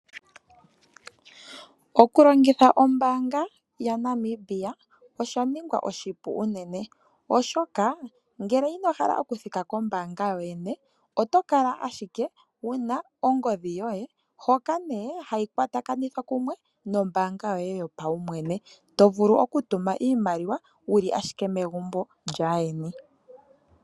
Oku longitha ombaanga yaBank Windhoek osha ningwa oshipu unene, oshoka ngele ino hala oku thika kombaanga yoyene, otokala ashike wuna ongodhi yoye hoka nee hayi kwa takanithwa kumwe nombaanga yoye yo pawumwene, tovulu oku tuma iimaliwa wuli ashike megumbo lyaa yeni.